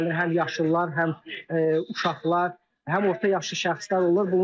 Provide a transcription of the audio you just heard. Həm yaşlılar, həm uşaqlar, həm orta yaşlı şəxslər olur.